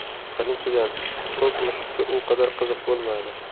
Birinchidan, to‘p mushukka u qadar qiziq bo‘lmadi.